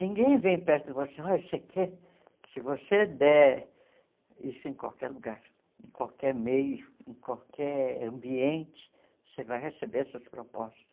Ninguém vem perto de você olha você quer se você der isso em qualquer lugar, em qualquer meio, em qualquer ambiente, você vai receber essas propostas.